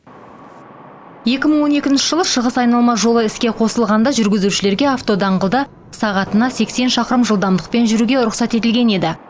екі мың он екінші жылы шығыс айналма жолы іске қосылғанда жүргізушілерге автодаңғылда сағатына сексен шақырым жылдамдықпен жүруге рұқсат етілген еді